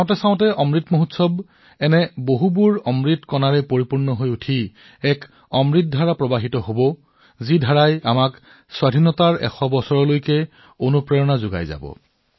আপুনি দেখিব অমৃত উৎসৱ বহুতো প্ৰেৰণাদায়ক অমৃত বিন্দুৰে ভৰি পৰিব আৰু তাৰ পিছত এনে অমৃত ধাৰা বহন হব যিয়ে ভাৰতৰ স্বাধীনতাৰ ১০০ বছৰৰ বাবে আমাক অনুপ্ৰাণিত কৰিব